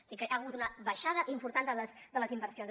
així que hi ha hagut una baixada important de les inversions